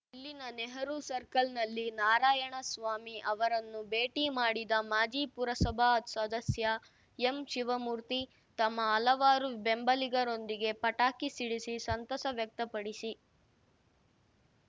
ಇಲ್ಲಿನ ನೆಹರೂ ಸರ್ಕಲ್‌ನಲ್ಲಿ ನಾರಾಯಣಸ್ವಾಮಿ ಅವರನ್ನು ಭೇಟಿ ಮಾಡಿದ ಮಾಜಿ ಪುರಸಭಾ ಸದಸ್ಯ ಎಂಶಿವಮೂರ್ತಿ ತಮ್ಮ ಹಲವಾರು ಬೆಂಬಲಿಗರೊಂದಿಗೆ ಪಟಾಕಿ ಸಿಡಿಸಿ ಸಂತಸ ವ್ಯಕ್ತಪಡಿಸಿ